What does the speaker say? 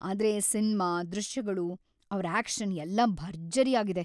ಆದ್ರೆ ಸಿನ್ಮಾ, ದೃಶ್ಯಗಳು, ಅವ್ರ ಆಕ್ಷನ್‌ ಎಲ್ಲಾ ಭರ್ಜರಿಯಾಗಿದೆ.